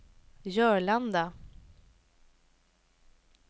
Jörlanda